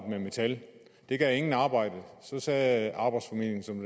med metal det gav intet arbejde og så sagde arbejdsformidlingen som